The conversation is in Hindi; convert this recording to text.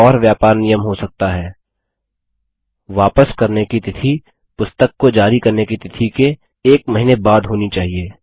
एक और व्यापार नियम हो सकता है वापस करने की तिथि पुस्तक को जारी करने की तिथि के एक महीने बाद होनी चहिये